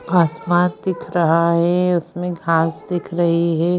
आसमान दिख रहा है उसमें घास दिख रही है।